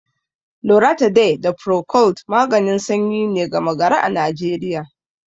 Loratiday da Procold maganin sanyi ne gama-gari a Najeriya.